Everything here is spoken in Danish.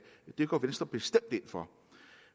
det går venstre bestemt ind for